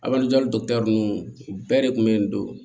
ninnu bɛɛ de kun bɛ n don